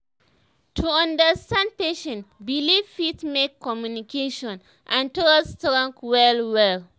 to understand patient belief fit make communication and trust strong well well